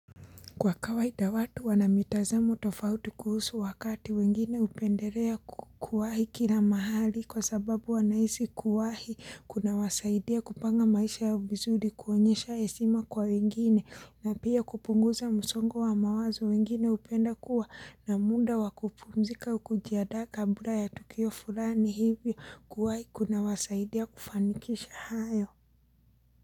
Kwa kawaida watu wanamitazamo tofauti kuhusu wakati wengine upenderea kuwahi kila mahali kwa sababu wanaisi kuwahi kuna wasaidia kupanga maisha ya vizuri kuonyesha hesima kwa wengine na pia kupunguza musongo wa mawazo wengine upenda kuwa na munda wakupumzika au kujiandaka kabla ya tukio fulani hivyo kuwahi kuna wasaidia kufanikisha hayo.